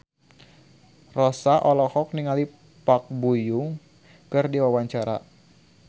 Rossa olohok ningali Park Bo Yung keur diwawancara